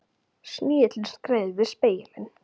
Snigillinn skreið yfir spegilinn.